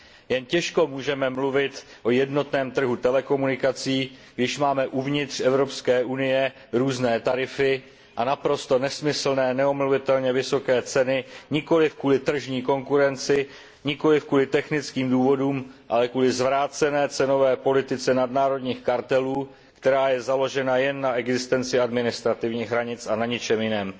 Jen těžko můžeme mluvit o jednotném trhu telekomunikací, když máme uvnitř Evropské unie různé tarify a naprosto nesmyslné, neomluvitelně vysoké ceny nikoliv kvůli tržní konkurenci, nikoliv kvůli technickým důvodům, ale kvůli zvrácené cenové politice nadnárodních kartelů, která je založena jen na existenci administrativních hranic a na ničem jiném.